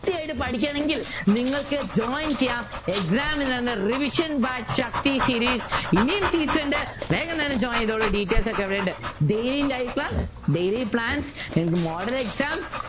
കൃത്യായിട്ട് പഠിക്കണെങ്കിൽ നിങ്ങൾക് join ചെയ്യാം exam നു revision by ശക്തി series ഇനിയും seat ഉണ്ട് വേഗം തന്നെ join ചെയ്തോളു details ഒക്കെ ഇവിടെയുണ്ട് Daily life daily plan എന്നിട്ട് model exam